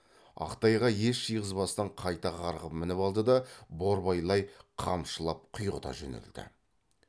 ақ тайға ес жиғызбастан қайта қарғып мініп алды да борбайлай қамшылап құйғыта жөнелді